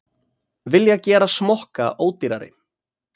Vilja gera smokka ódýrari